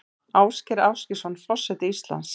Ásgeir Ásgeirsson forseti Íslands